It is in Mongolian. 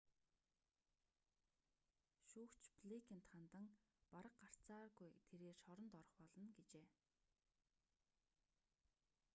шүүгч блэйкэнд хандан бараг гарцааргүй тэрээр шоронд орох болно гэжээ